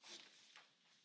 Elnök Úr!